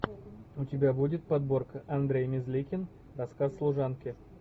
у тебя будет подборка андрей мерзликин рассказ служанки